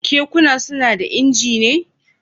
Kekuna suna da injina?